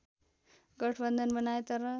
गठबन्धन बनाए तर